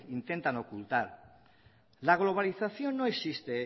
intentan ocultar la globalización no existe